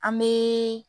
An bɛ